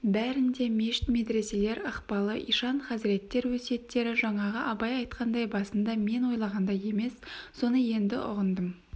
бәрінде мешіт медреселер ықпалы ишан-хазіреттер өсиеттері жаңағы абай айтқандай басында мен ойлағандай емес соны енді ұғындым